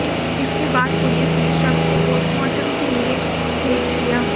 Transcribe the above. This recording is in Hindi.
इसके बाद पुलिस ने शव को पोस्टमार्टम के लिए भेज दिया